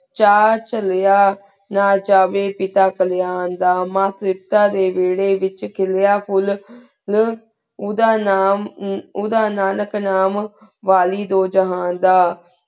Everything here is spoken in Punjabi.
ਚਾਰ ਚਾਲੇਯਾਂ ਨਾ ਜਾਵੀ ਪਤਾ ਪੇਲ੍ਯਾਂ ਦਾ ਮਾਨ ਫੇਰਤਾਂ ਡੀ ਵੇਰੀ ਵੇਚ ਖਿਲੇਯਾ ਫੁਲ ਨੂ ਉੜਾ ਨਾਮ ਉਨ੍ਦਾਹਨ ਨਾਨਿਕ ਨਾਮ ਵਾਲੀ ਦੁਹ ਜ਼ਹਨ ਦਾ